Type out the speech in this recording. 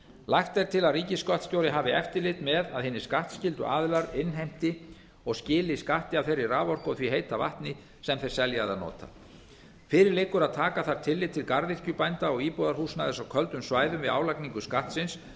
lagt er til að ríkisskattstjóri hafi eftirlit með að hinir skattskyldu aðilar innheimti og skili skatti af þeirri raforku og því heita vatni sem þeir selja eða nota fyrir liggur að taka þarf tillit til garðyrkjubænda og íbúðarhúsnæðis á köldum svæðum við álagningu skattsins